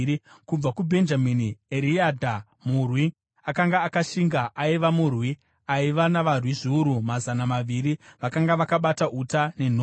Kubva kuBhenjamini: Eriadha murwi akanga akashinga, aiva murwi aiva navarwi zviuru mazana maviri vakanga vakabata uta nenhoo;